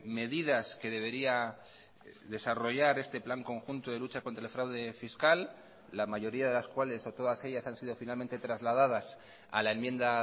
medidas que debería desarrollar este plan conjunto de lucha contra el fraude fiscal la mayoría de las cuales o todas ellas han sido finalmente trasladadas a la enmienda